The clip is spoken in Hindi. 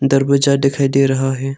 दरवाजा दिखाई दे रहा है।